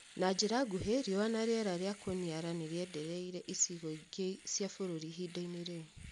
Na njĩra nguhĩ riũa na rĩera rĩa kũniara nĩrĩendereire icigo ingĩ cia bũrũri ihinda-ini rĩu